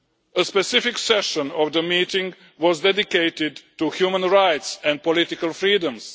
A specific session of the meeting was dedicated to human rights and political freedoms.